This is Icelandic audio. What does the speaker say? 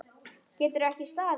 Getur ekki staðið.